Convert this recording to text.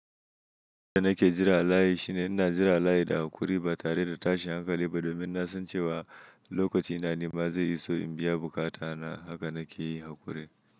Abinda nake jira a layi shine ina jira layi da hakuri ba tare da tashin hankali ba domin na san cewa lokacin na nima zai iso in biya bukata na. Haka nake yi hakuri.